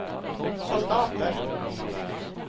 soldater